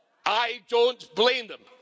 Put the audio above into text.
I don't blame them.